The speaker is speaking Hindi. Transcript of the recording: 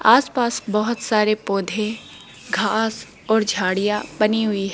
आस पास बहोत सारे पौधे घास और झाड़ियां बनी हुई--